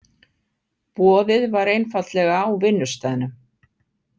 Boðið var einfaldlega á vinnustaðnum.